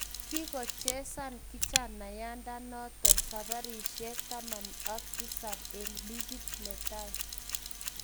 Kigochezan kijanayandanoton saparishek 17 en ligit netai